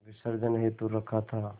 विसर्जन हेतु रखा था